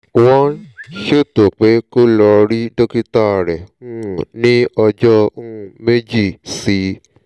wọ́n ṣètò pé kó lọ rí dókítà rẹ̀ um ní ọjọ́ um méjì sí i